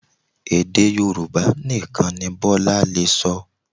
Èdè Yorùbá nìkan ni Bọ́lá lè sọ